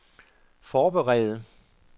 forberede